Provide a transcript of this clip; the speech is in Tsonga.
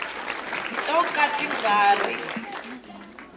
to ka ti nga ri